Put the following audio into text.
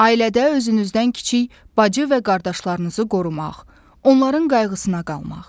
Ailədə özünüzdən kiçik bacı və qardaşlarınızı qorumaq, onların qayğısına qalmaq.